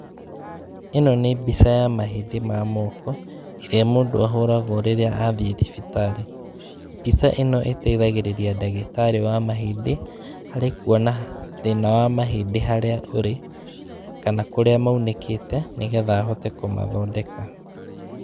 Ĩno nĩ mbica ya mahĩndĩ ma moko, ĩrĩa mũndũ ahũragwo rĩrĩa athiĩ thibitarĩ, mbica ĩno ĩteithagĩrĩria ndagĩtarĩ wa mahĩndĩ harĩ kuona thĩna wa mahĩndĩ harĩa ũrĩ, kana kũrĩa maunĩkĩte, nĩgetha ahote kũmathondeka.